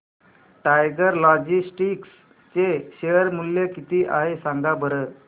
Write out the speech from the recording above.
tiger Logistics चे share मूल्य किती आहे सांगा बरं